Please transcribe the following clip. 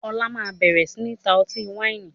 Ọlá máa bẹ̀rẹ̀ sini ta ọtí wáìnì